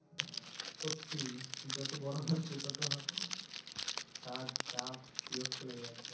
সত্যি যত বড় হচ্ছি ততো কাজ চাপ বিরক্ত লেগে যাচ্ছে